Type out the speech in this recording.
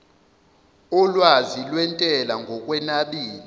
olwazi lwentela ngokunabile